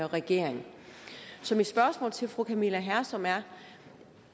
regering så mit spørgsmål til fru camilla hersom er